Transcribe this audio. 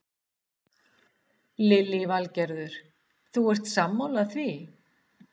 Lillý Valgerður: Þú ert sammála því?